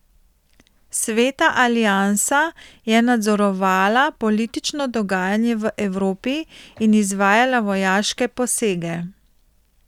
Sveta aliansa je nadzorovala politično dogajanje v Evropi in izvajala vojaške posege.